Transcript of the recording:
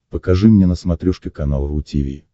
покажи мне на смотрешке канал ру ти ви